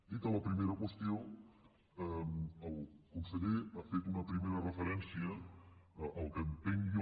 dita la primera qüestió el conseller ha fet una primera referència al que entenc jo